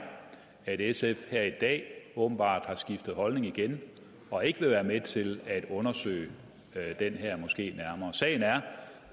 at sf her i dag åbenbart har skiftet holdning igen og ikke vil være med til at undersøge den her moské nærmere sagen er